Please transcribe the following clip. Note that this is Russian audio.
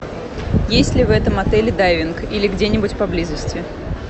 есть ли в этом отеле дайвинг или где нибудь поблизости